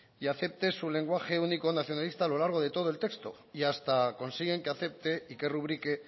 y acepte su lenguaje único nacionalista a lo largo de todo el texto y hasta consiguen que acepte y que rubrique